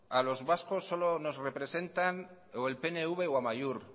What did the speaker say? a los vascos solo nos representan o el pnv o amaiur